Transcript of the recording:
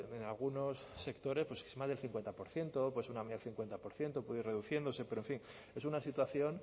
en algunos sectores es más del cincuenta por ciento una media del cincuenta por ciento puede ir reduciéndose pero en fin es una situación